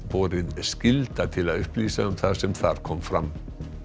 borið skylda til að upplýsa um það sem þar kom fram